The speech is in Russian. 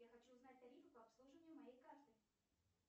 я хочу узнать тарифы по обслуживанию моей карты